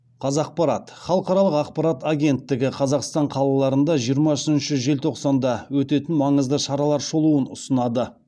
қазақпарат халықаралық ақпарат агенттігі қазақстан қалаларында жиырма үшінші желтоқсанда өтетін маңызды шаралар шолуын ұсынады